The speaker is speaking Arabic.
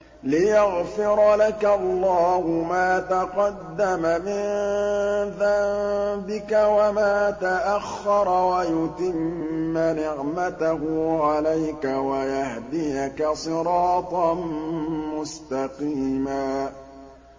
لِّيَغْفِرَ لَكَ اللَّهُ مَا تَقَدَّمَ مِن ذَنبِكَ وَمَا تَأَخَّرَ وَيُتِمَّ نِعْمَتَهُ عَلَيْكَ وَيَهْدِيَكَ صِرَاطًا مُّسْتَقِيمًا